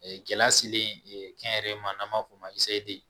Gɛlɛya selen kɛnyɛrɛ ma n'an b'a fɔ o ma